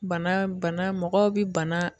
Bana bana mɔgɔw bi bana